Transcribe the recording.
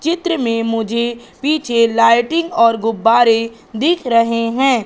चित्र में मुझे पीछे लाइटिंग और गुब्बारे दिख रहे हैं।